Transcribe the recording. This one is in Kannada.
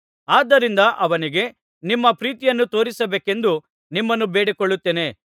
ಆದ್ದರಿಂದ ಅವನಿಗೆ ನಿಮ್ಮ ಪ್ರೀತಿಯನ್ನು ತೋರಿಸಬೇಕೆಂದು ನಿಮ್ಮನ್ನು ಬೇಡಿಕೊಳ್ಳುತ್ತೇನೆ